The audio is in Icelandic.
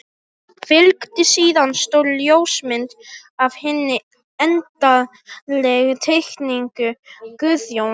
Fylgdi síðan stór ljósmynd af hinni endanlegu teikningu Guðjóns.